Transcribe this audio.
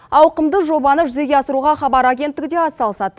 ауқымды жобаны жүзеге асыруға хабар агенттігі де атсалысады